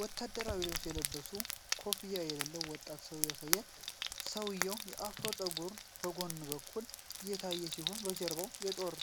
ወታደራዊ ልብስ ለብሶ ኮፍያ የሌለው ወጣት ሰው ያሳያል፤ ሰውዬው በአፍሮ ፀጉር በጎን በኩል የታየ ሲሆን፣ በጀርባው የጦር